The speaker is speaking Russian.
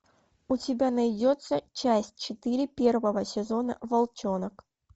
у тебя найдется часть четыре первого сезона волчонок